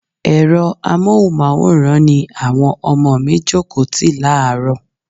Ẹ̀rọ amohunmaworan ni àwọn ọmọ mi jókòó tì láàrọ́.